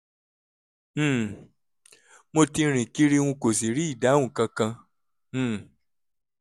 um mo ti rìn kiri n kò sì rí ìdáhùn kankan um